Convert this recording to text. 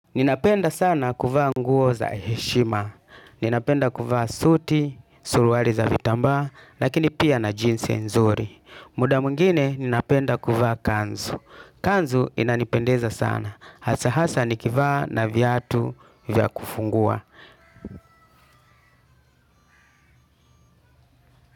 Ninapenda sana kuvaa nguo za heshima, ninapenda kuvaa suti, suruali za vitambaa, lakini pia na jeans nzuri. Muda mwingine ninapenda kuvaa kanzu. Kanzu inanipendeza sana, hasa hasa nikivaa na viatu vya kufungua.